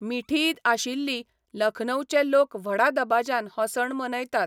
मिठीईद आशिल्ली, लखनौचे लोक व्हडा दबाज्यान हो सण मनयतात.